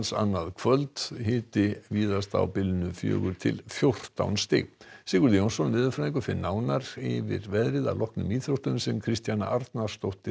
annað kvöld hiti víðast á bilinu fjögur til fjórtán stig Sigurður Jónsson veðurfræðingur fer nánar yfir veðrið að loknum íþróttum Kristjana Arnarsdóttir